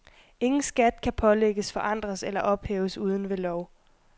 Ingen skat kan pålægges, forandres eller ophæves uden ved lov.